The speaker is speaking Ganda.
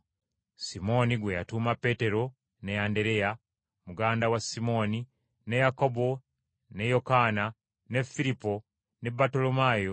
Simooni, gwe yatuuma Peetero, ne Andereya, muganda wa Simooni, ne Yakobo, ne Yokaana, ne Firipo, ne Battolomaayo,